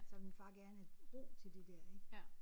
Så ville min far gerne have ro til det der ik